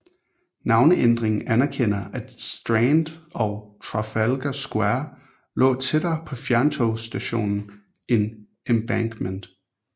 Navneændringen anerkender at Strand og Trafalgar Square lå tættere på fjerntogsstation end Embankment